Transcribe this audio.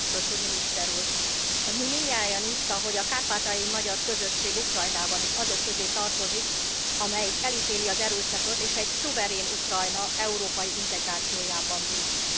Mi, mindnyájan itt, ahogy a kárpátaljai magyar közösség Ukrajnában is, azok közé tartozik, akik elítélik az erőszakot, és egy szuverén Ukrajna európai integrációjában bíznak.